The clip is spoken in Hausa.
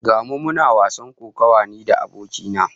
Ga mu muna wasan kokawa ni da abokai na